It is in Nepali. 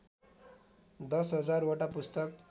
१० हजार वटा पुस्तक